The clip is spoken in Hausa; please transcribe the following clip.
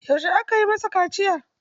Yaushe aka yi masa kaciya?